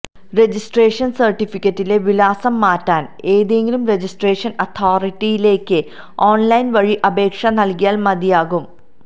registration സർട്ടിഫിക്കറ്റിലെ വിലാസം മാറ്റാൻ ഏതെങ്കിലും രജിസ്ട്രേഷൻ അതോറിറ്റിയിലേക്ക് ഓൺലൈൻ വഴി അപേക്ഷ നൽകിയാൽ മതിയാകും